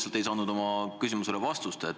Ma ei saanud oma küsimusele vastust.